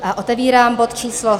A otevírám bod číslo